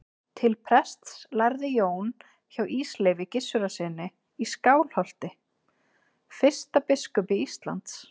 Til prests lærði Jón hjá Ísleifi Gissurarsyni í Skálholti, fyrsta biskupi Íslands.